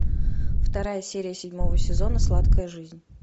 вторая серия седьмого сезона сладкая жизнь